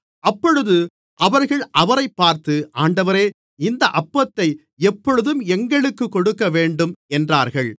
அப்பொழுது அவர்கள் அவரைப் பார்த்து ஆண்டவரே இந்த அப்பத்தை எப்பொழுதும் எங்களுக்கு கொடுக்கவேண்டும் என்றார்கள்